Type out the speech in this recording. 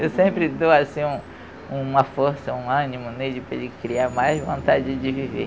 Eu sempre dou assim um uma força, um ânimo nele para ele criar mais vontade de viver.